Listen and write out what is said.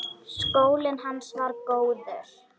Skólinn hans var góður.